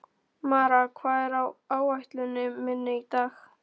Mara, hvað er á áætluninni minni í dag?